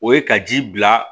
O ye ka ji bila